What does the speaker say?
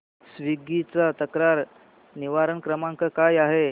Swiggy चा तक्रार निवारण क्रमांक काय आहे